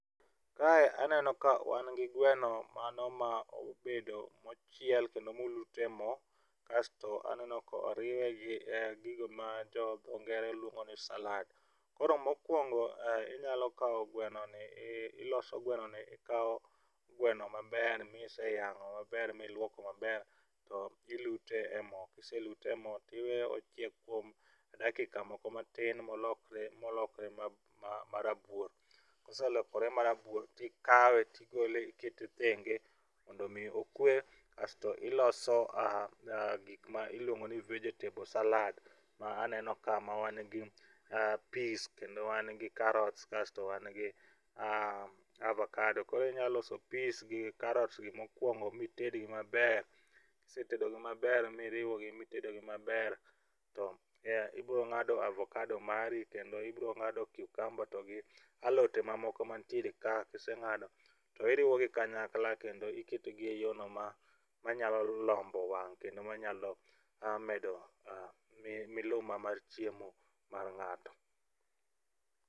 Kae aneno ka wan gi gweno mano ma obedo mochiel kendo molut e mo kasto aneno ka oriwe gi gigo ma dho ngere luongo ni salad, koro mokuongo inyalo kawo gwenoni iloso gwenoni ikawo gweno maber maiseyang'o maber miluoko maber to iluto e mo ka iselute e mo to iweyo ochiek kuom dakika moko matin molokre molokre ma marabuor koselokore marabuor to ikawe to igole ikete thenge mondo mi okwe kasto iloso gik ma iluongo ni vegetable salad ma aneno ka mawan gi pis kendowan gi karot kasto wan gi avokado koro inyalo loso pis gi karot gi mokuongo mitedgi maber. Ka isetedo gi maber miriwogi maber to ibiro ng'ado avokado mari kendo ibiro ng'ado cucamba kod alote mantiere kae kiseng'ado to iriwogi kanyaklla kendo iketogi eyo manyalo lombo wang' kendo manyalo medo miluma mar chiemo mar ng'ato.